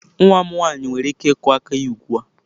Nwa m nwanyị nwere ike ịkụ aka ya ugbu a.